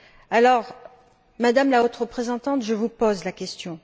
Alors, Madame la Haute représentante, je vous pose la question.